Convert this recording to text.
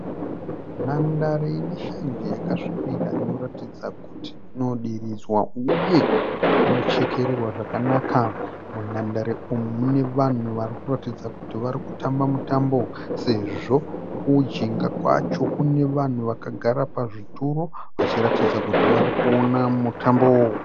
Nhandare ine shanje yakasvibira inoratidza kuti ino diridzwa uye inochekererwa zvakanaka, munhandare umu mune vanhu varikuratidza kuti vari kutamba mutambo sezvo kujinga kwacho kune vanhu vakagara pazvituro vachiratidza kuti vari kuona mutambo.